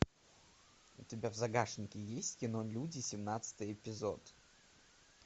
у тебя в загашнике есть кино люди семнадцатый эпизод